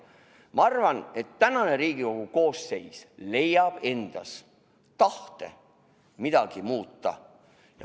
Ma arvan, et Riigikogu praegune koosseis leiab endas tahte midagi muuta.